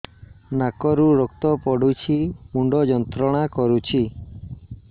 ନାକ ରୁ ରକ୍ତ ପଡ଼ୁଛି ମୁଣ୍ଡ ଯନ୍ତ୍ରଣା କରୁଛି